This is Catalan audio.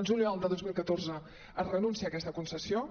el juliol de dos mil catorze es renuncia a aquesta concessió